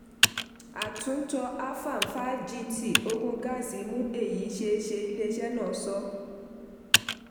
àtúntọ afam five gt ogún gáàsì mú èyí ṣeéṣe iléeṣẹ́ náà sọ.